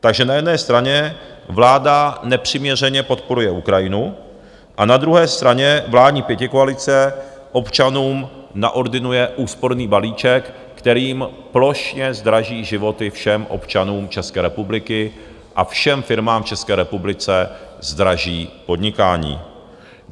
Takže na jedné straně vláda nepřiměřeně podporuje Ukrajinu a na druhé straně vládní pětikoalice občanům naordinuje úsporný balíček, kterým plošně zdraží životy všem občanům České republiky a všem firmám v České republice zdraží podnikání.